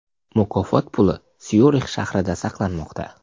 Mukofot puli Syurix shahrida saqlanmoqda.